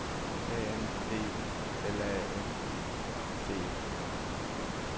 A M B U L A N C E